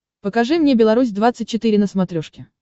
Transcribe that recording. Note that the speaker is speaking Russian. покажи мне беларусь двадцать четыре на смотрешке